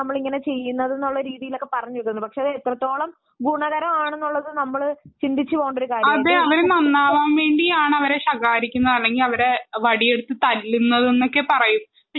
കുട്ടികളോടുള്ള അമിത സ്നേഹം കൊണ്ടും അവരുടെ ഒരു താല്പര്യങ്ങൾ കേൾക്കാതിരിക്കുന്ന ഒരു രീതി ഇപ്പോൾ വരുന്നുണ്ട് അതിനു അവർ പറയുന്ന ഒരു കാരണമാണ്